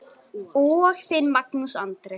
Þinn, Magnús Andri.